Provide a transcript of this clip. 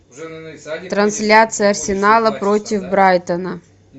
трансляция арсенала против брайтона